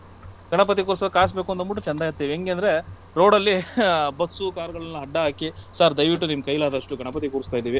ಗಣಪತಿ ಕೂರ್ಸೋಕೆ ಕಾಸ್ ಬೇಕಂದ್ಬಟ್ಟು ಚಂದಾ ಎತ್ತುತ್ತೀವಿ. ಹೆಂಗೆ ಅಂದ್ರೆ road ಲ್ಲಿ ಅಹ್ ಬಸ್ಸು, ಕಾರುಗಳನ್ನೆಲ್ಲಾ ಅಡ್ಡ ಹಾಕಿ sir ದಯವಿಟ್ಟು ನಿಮ್ಮ ಕೈಲಾದಷ್ಟು ಗಣಪತಿ ಕೂರ್ಸತಾ ಇದ್ದೀವಿ.